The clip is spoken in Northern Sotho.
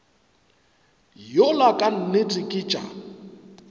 yola ka nnete ke tša